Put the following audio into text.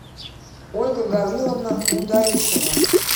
ольга гавриловна мударисова